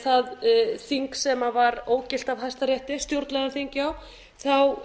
það þing sem var ógilt af hæstarétti stjórnlagaþing já þá